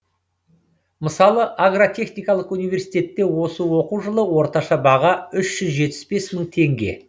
мысалы агротехникалық университетте осы оқу жылы орташа баға үш жүз жетпіс бес мың теңге